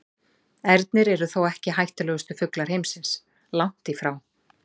Ernir eru þó ekki hættulegustu fuglar heimsins, langt í frá.